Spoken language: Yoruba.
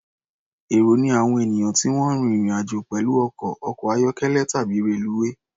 Èrò ni àwọn ènìyàn tí wọ́n ń rín ìrìn-àjò pẹ̀lú ọkọ̀, ọkọ̀-ayọ́kẹ́lẹ̀ tàbí reluwé.